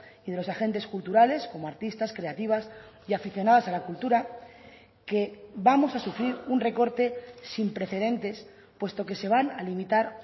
y de los agentes culturales como artistas creativas y aficionadas a la cultura que vamos a sufrir un recorte sin precedentes puesto que se van a limitar